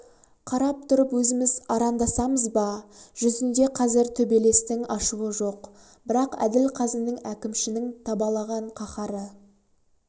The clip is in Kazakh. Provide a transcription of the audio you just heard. қарап тұрып өзіміз арандасамыз ба жүзінде қазір төбелестің ашуы жоқ бірақ әділ қазының әкімшінің табалаған қаһары